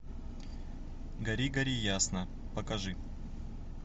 гори гори ясно покажи